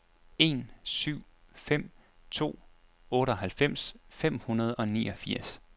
en syv fem to otteoghalvfems fem hundrede og niogfirs